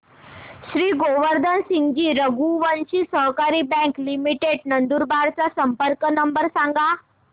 श्री गोवर्धन सिंगजी रघुवंशी सहकारी bank limited Nandurbar चा संपर्क नंबर सांगा